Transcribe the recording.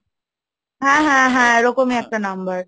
হ্যাঁ, হ্যাঁ, হ্যাঁ, এরকমই একটা নাম্বার?